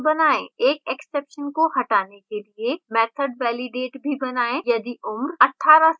एक exception का हटाने के लिए method validate भी बनाएँ यदि उम्र 18 से कम है